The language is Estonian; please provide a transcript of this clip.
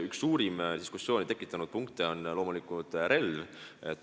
Üks suurimat diskussiooni tekitanud punkte on loomulikult relv.